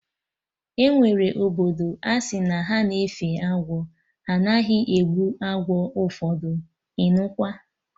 Enwere obodo asị na ha na-efe agwọ, ha anaghị egbu agwọ ụfọdụ, ịnụkwa!